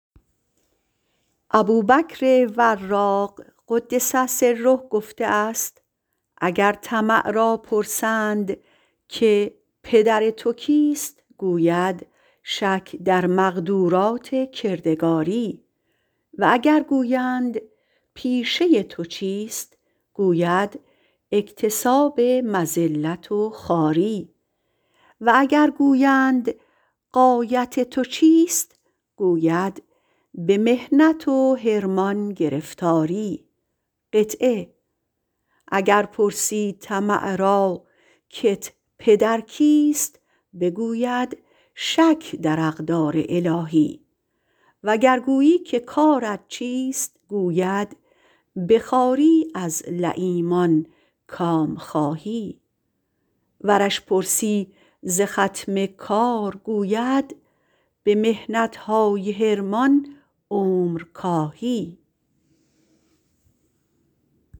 ابوبکر وراق - قدس سره - گفته است اگر طمع را پرسند که پدرت کیست گوید شک در مقدرات کردگاری و اگر گویند پیشه تو چیست گوید اکتساب مذلت و خواری و اگر گویند غایت تو چیست گوید به محنت حرمان گرفتاری اگر پرسی طمع راکت پدر کیست بگوید شک در اقدار الهی و گر گویی که کارت چیست گوید به محنتهای حرمان عمر کاهی